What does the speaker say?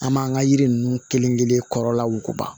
An m'an ka yiri ninnu kelen kelen kɔrɔla wuguba